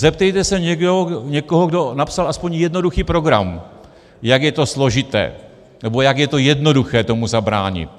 Zeptejte se někoho, kdo napsal aspoň jednoduchý program, jak je to složité, nebo jak je to jednoduché tomu zabránit.